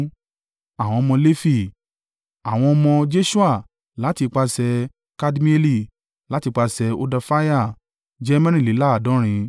Àwọn ọmọ Lefi: àwọn ọmọ Jeṣua (láti ipasẹ̀ Kadmieli, láti ipasẹ̀ Hodafiah) jẹ́ mẹ́rìnléláàádọ́rin (74).